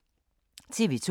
TV 2